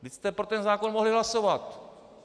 Vždyť jste pro ten zákon mohli hlasovat!